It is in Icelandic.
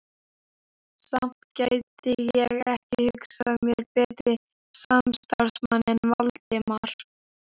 Samt gæti ég ekki hugsað mér betri samstarfsmann en Valdimar